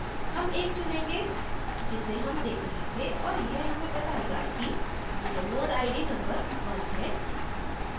हम एक चुनेंगे जिसे हम देख रहे थे और यह हमें बतायेगा कि यह node id number 1 है